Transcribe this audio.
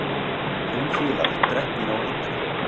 Fimm fílar drepnir á eitri